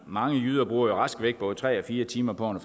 mange jyder bruger rask væk både tre og fire timer på